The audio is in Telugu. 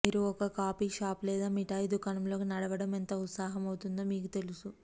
మీరు ఒక కాఫీ షాప్ లేదా మిఠాయి దుకాణంలోకి నడవడం ఎంత ఉత్సాహం అవుతుందో మీకు తెలుసు